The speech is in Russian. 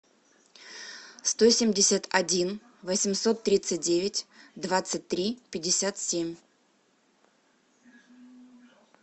сто семьдесят один восемьсот тридцать девять двадцать три пятьдесят семь